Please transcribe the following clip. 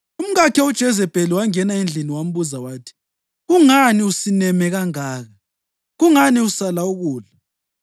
Umkakhe uJezebheli wangena endlini wambuza wathi, “Kungani usineme kangaka? Kungani usala ukudla?”